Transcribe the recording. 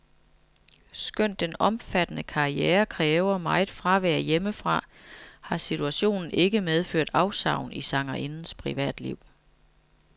Skønt den omfattende karriere kræver meget fravær hjemmefra, har situationen ikke medført afsavn i sangerindens privatliv.